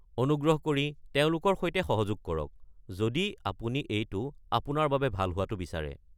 অনুগ্ৰহ কৰি তেওঁলোকৰ সৈতে সহযোগ কৰক, যদি আপুনি এইটো আপোনাৰ বাবে ভাল হোৱাটো বিচাৰে।